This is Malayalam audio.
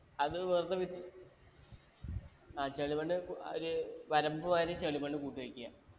അത് വെറുതെ വി ആ ചെളി മണ്ണ് അഹ് ഒരു വരമ്പ് മാതിരി ചെളി മണ്ണ് കൂട്ടി വെക്ക